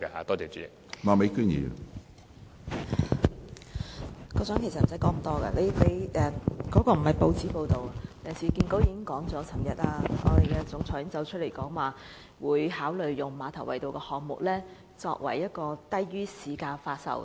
局長其實無需多說，他所提及的亦非甚麼報章報道，而是市建局行政總監昨天表示，將會考慮把馬頭圍道項目的單位以低於市價發售。